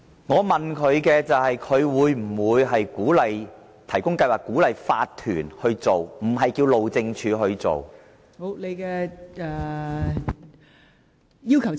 我問局長會否提供資助鼓勵法團去做，而不是要求路政署去做。